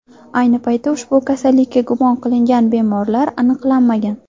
Ayni paytda ushbu kasallikka gumon qilingan bemorlar aniqlanmagan.